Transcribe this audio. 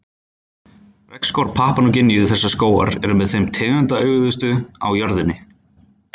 Regnskógar Papúa Nýju-Gíneu Þessir skógar eru með þeim tegundaauðugustu á jörðinni.